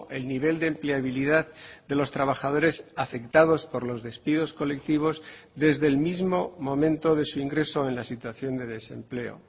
el nivel de empleabilidad de los trabajadores afectados por los despidos colectivos desde el mismo momento de su ingreso en la situación de desempleo